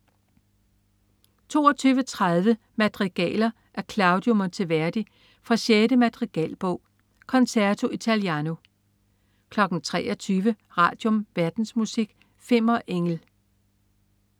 22.30 Madrigaler af Claudio Monteverdi fra 6. madrigalbog. Concerto Italiano 23.00 Radium. Verdensmusik. Fimmer Engel